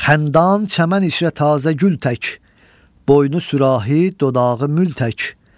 Xəndan çəmən içrə tazə gül tək, boynu sürahi, dodağı mül tək.